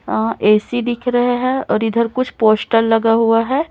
अं AC दिख रहे हैं और इधर कुछ पोस्टर लगा हुआ है।